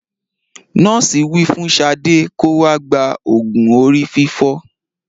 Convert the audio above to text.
Nọ́ọ̀sì wí fún Sade kó wá gba òògùn orí fífọ